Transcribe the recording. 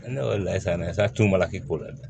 Ne wele la sa ne satunbala k'i ko la dɛ